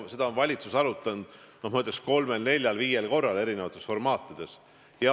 Seda on valitsus arutanud, ma ütleks, kolmel, neljal, viiel korral erinevates formaatides.